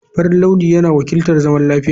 Farin launi yana wakiltar zaman lafiya.